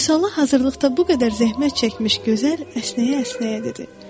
Vüsala hazırlıqda bu qədər zəhmət çəkmiş gözəl əsnəyə-əsnəyə dedi.